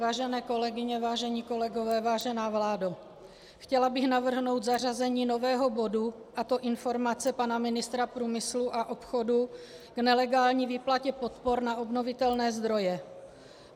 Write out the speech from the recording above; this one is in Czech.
Vážené kolegyně, vážení kolegové, vážená vládo, chtěla bych navrhnout zařazení nového bodu, a to informace pana ministra průmyslu a obchodu k nelegální výplatě podpor na obnovitelné zdroje.